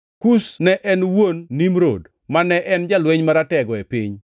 Kush ne en wuon Nimrod, mane en jalweny maratego e piny.